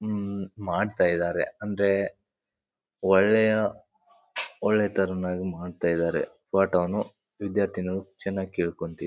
ಉಮ್ ಮಾಡ್ತಾ ಇದ್ದಾರೆ ಅಂದ್ರೆ ಒಳ್ಳೆಯ ಒಳ್ಳೆ ತರದಲ್ಲಿ ಮಾಡ್ತಾ ಇದ್ದಾರೆ. ಪಾಠವನ್ನು ವಿದ್ಯಾರ್ಥಿನಿಯರು ಚೆನ್ನಾಗ್ ಕೇಳ್ಕೊಂತ್--